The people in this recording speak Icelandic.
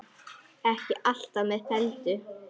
Ekki allt með felldu